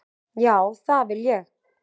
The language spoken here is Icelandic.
Já, það vil ég.